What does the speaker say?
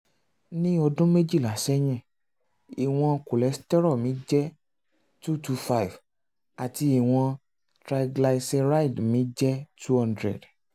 ní ọdún méjìlá sẹ́yìn ìwọ̀n cholesterol mi jẹ́ 225 àti ìwọ̀n triglyceride mi jẹ́ 200